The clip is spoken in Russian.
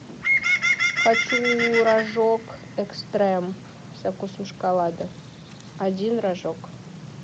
хочу рожок экстрем со вкусом шоколада один рожок